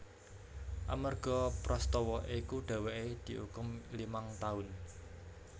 Amarga prastawa iku dheweke diukum limang taun